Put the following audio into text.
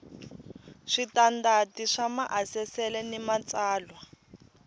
switandati swa maasesele ni matsalwa